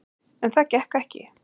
En það gekk ekki.